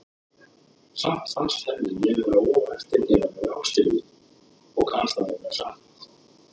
Samt fannst henni ég vera of eftirgefanleg við Ástríði, og það kann að vera satt.